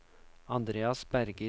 Andreas Berger